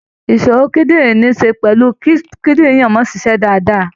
Ìṣòro kídìrín níí ṣe pẹ̀lú kí kídìrín ènìyàn máa ṣiṣẹ́ dáadáa.